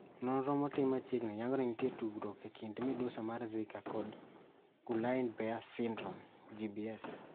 Nonro maotim machiegni yango ni nitiere tudruok ekind midusi mar zika kod Guillain Barre syndrome (GBS).